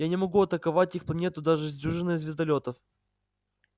я не могу атаковать их планету даже с дюжиной звездолётов